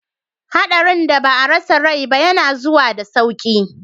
Hadarin da ba a rasa rai ba yana zuwa da sauki.